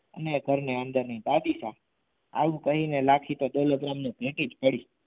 ને ઘરની અંદર દાદી શા આવું કહી તો લખીને દોલતરામે પેટી જ પડી.